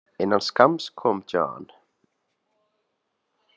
Innan skamms kom John.